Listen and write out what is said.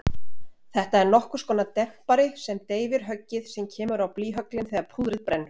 Þetta er nokkurskonar dempari sem deyfir höggið sem kemur á blýhöglin þegar púðrið brennur.